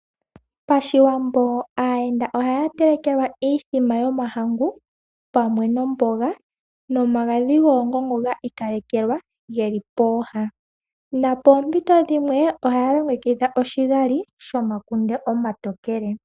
Pashiwambo aayenda ohaya telekelwa iithima yomahangu pamwe nomboga nomagadhi goongongo gi ikalekelwa geli pooha nopoompito dhimwe ohaya longekidha oshigali shomakunde omatokele.